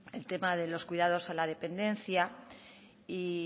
el tema de los cuidados a la dependencia y